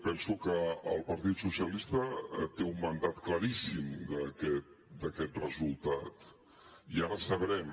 penso que el partit socialistes té un mandat claríssim d’aquest resultat i ara sabrem